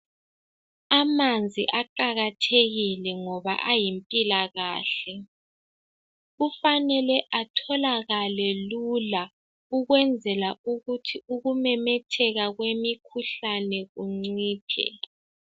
Amanzi aqakathekile ngoba ayimpilakahle kufanele atholakale lula ukwenzela ukuthi ukumemetheka kwemikhuhlane kuncithe